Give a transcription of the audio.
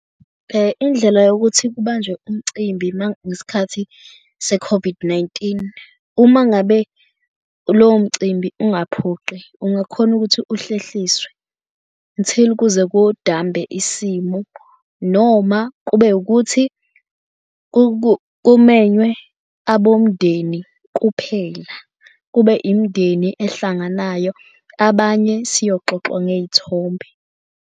Indlela yokuthi kubanjwe umcimbi ngesikhathi se-COVID-19. Uma ngabe lowo mcimbi ungaphoqi, ungakhona ukuthi uhlehliswe until kuze kudambe isimo noma kube ukuthi kumenywe abomndeni kuphela. Kube imindeni ehlanganayo abanye siyoxoxwa ngeyithombe.